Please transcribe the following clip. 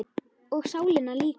Og sálina líka.